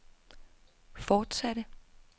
fortsatte